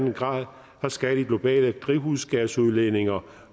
en grader skal de globale drivhusgasudledninger